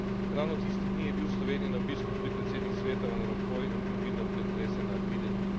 Ravno tiste dni je bil v Sloveniji na obisku tud predsednik Sveta Van Rompuy in bil vidno pretresen nad videnim.